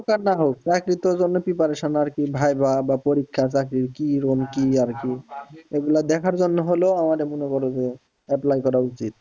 হোক আর না হোক চাকরিতে ওজন্য preparation আর কি viva আর পরীক্ষা চাকরির কিরম কি আরকি এগুলো দেখার জন্য হলেও আমার মনে করো যে apply করা উচিত।